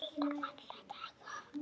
Alltaf, alla daga.